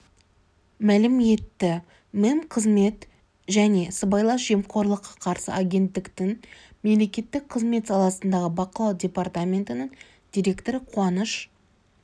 мәлім етті мемқызмет және сыбайлас жемқорлыққа қарсы агенттіктің мемлекеттік қызмет саласындағы бақылау департаментінің директоры қуаныш